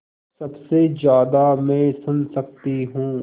सबसे ज़्यादा मैं सुन सकती हूँ